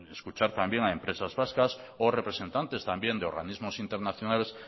escuchar también a empresas vascas o representantes también de organismos internacionales